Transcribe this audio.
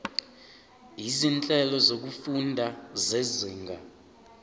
izinhlelo zokufunda zezinga